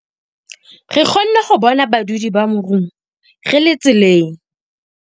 Re kgonne ho bona badudi ba morung re le tseleng.